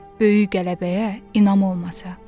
Böyük qələbəyə inam olmasa.